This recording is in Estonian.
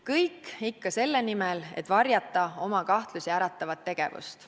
Kõik ikka selle nimel, et varjata oma kahtlusi äratavat tegevust.